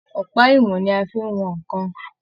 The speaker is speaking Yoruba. Ọpa ìwọn ní a fí n wọn nnkan.